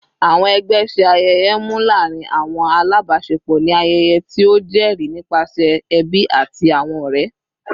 Awọn ẹgbẹ ṣe ayẹyẹ mnu laarin awọn alabaṣepọ ni ayẹyẹ ti o jẹri nipasẹ ẹbi ati awọn ọrẹ